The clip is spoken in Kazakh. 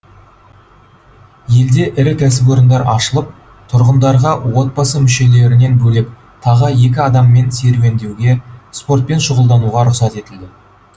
елде ірі кәсіпорындар ашылып тұрғындарға отбасы мүшелерінен бөлек тағы екі адаммен серуендеуге спортпен шұғылдануға рұқсат етілді